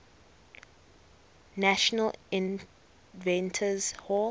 national inventors hall